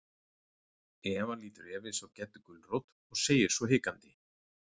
Eva lítur efins á Geddu gulrót og segir svo hikandi.